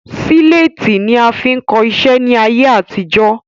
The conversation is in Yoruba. Síléétì ni a fi ń kọ iṣẹ́ ni ayé àtijọ́